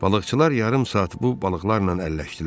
Balıqçılar yarım saat bu balıqlarla əlləşdilər.